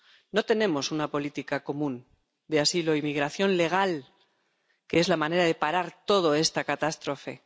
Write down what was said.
No tenemos una política común de asilo y migración legal, que es la manera de parar toda esta catástrofe.